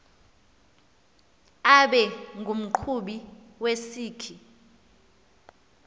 abe ngumqhubi wesikhi